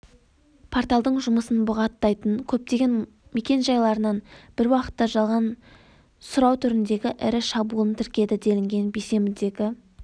порталдың жұмысын бұғаттайтын көптеген мекенжайларынан бір уақытта жалған сұрау түріндегі ірі шабуылын тіркеді делінген бейсенбідегі